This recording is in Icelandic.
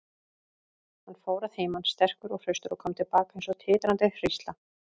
Hann fór að heiman sterkur og hraustur og kom til baka eins og titrandi hrísla.